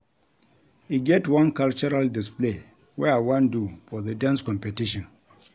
E get one cultural display wey I wan do for the dance competition